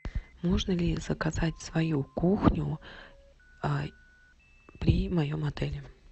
можно ли заказать свою кухню при моем отеле